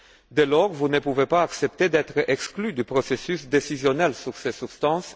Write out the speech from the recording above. Dès lors, vous ne pouvez pas accepter d'être exclus du processus décisionnel sur ces substances.